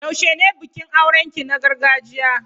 Yaushe ne bikin auren ki na gargajiya?